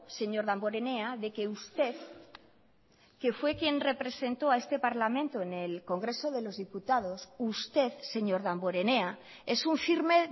señor damborenea de que usted que fue quien representó a este parlamento en el congreso de los diputados usted señor damborenea es un firme